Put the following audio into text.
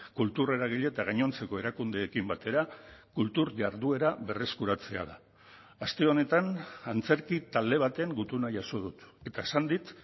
kultur eragile eta gainontzeko erakundeekin batera kultur jarduera berreskuratzea da aste honetan antzerki talde baten gutuna jaso dut eta esan dit